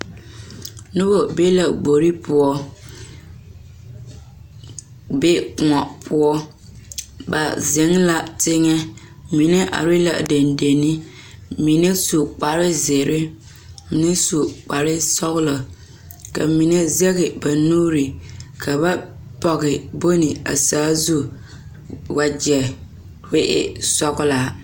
Noba be la gbori poɔ be kóɔ poɔ ba zeŋ la teŋa mine are la dendenne mine su kpar zeere mine su kpar sɔgelɔ ka mine sege ba nuure ka ba pɔge bon a zaa zu wagyɛ ko e sɔgelaa